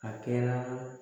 A kɛra